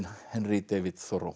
Henry David